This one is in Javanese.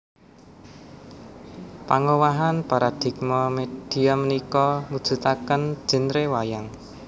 Pangowahan paradigma media punika mujudaken genre wayang